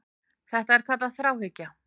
Þetta er kallað þráhyggja.